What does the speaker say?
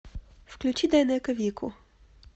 включи дайнеко вику